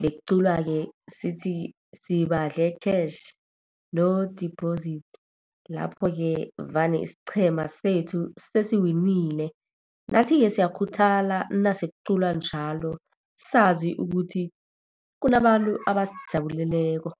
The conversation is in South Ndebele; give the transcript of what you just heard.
Bekuculwa-ke sithi, sibadle cash, no deposit. Lapho-ke vane isiqhema sethu sesiwinile. Nathi-ke siyakhuthala nase kuculwa njalo, sazi ukuthi kunabantu abasijabuleleko.